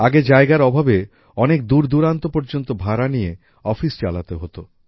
আগে জায়গার অভাবে অনেক দূরদূরান্ত পর্যন্ত ভাড়া নিয়ে অফিস চালাতে হতো